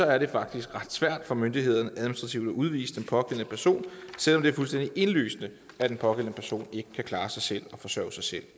er det faktisk ret svært for myndighederne administrativt at udvise den pågældende person selv om det er fuldstændig indlysende at den pågældende person ikke kan klare sig selv og forsørge sig selv